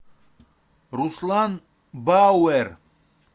руслан бауэр